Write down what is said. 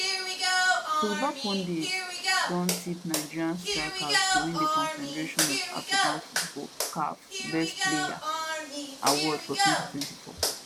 football pundits don tip nigeria striker to win di confederation of african football caf best player award for 2024